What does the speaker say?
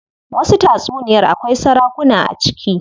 Wasu tatsuniyar akwai sarakuna a ciki.